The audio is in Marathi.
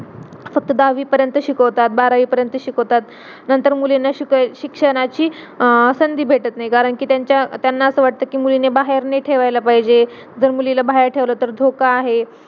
पण जेंव्हा आपली health आपल्याला साथ नाही देणार तर आपण अभ्यास तरी कुठून करणार आणि जेणेकरून आता ती आई त्या पोराला juice देते जेणेकरून तो जागा राहावा.